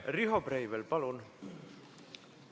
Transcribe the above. Riho Breivel, palun!